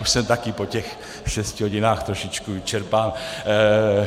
Už jsem taky po těch šesti hodinách trošičku vyčerpán.